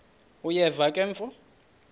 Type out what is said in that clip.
uyeva ke mfo